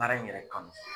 Baara in yɛrɛ kanu